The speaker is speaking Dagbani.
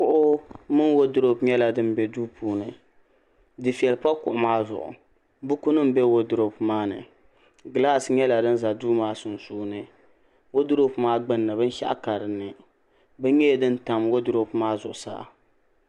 kuɣu mini woodurop nyɛla din bɛ duu puuni dufɛli pa kuɣu maa zuɣu buku nim bɛ woodurop maa ni gilaas nyɛla din ʒɛ duu maa sunsuuni woodurop maa gbunni binshaɣu ka dinni bini nyɛla din tam woodurop maa zuɣusaa